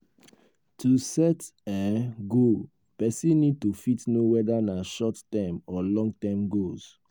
to set um goal person need to fit know whether na short-term or long-term goals